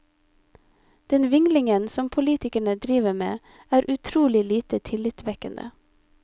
Den vinglingen som politikerne driver med, er utrolig lite tillitvekkende.